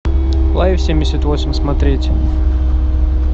лайф семьдесят восемь смотреть